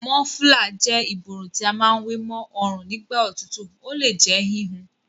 Mọ́flà jẹ́ ìborùn tí a má wé ma ọrùn nígbà òtútù. Ó le jẹ́ híhun.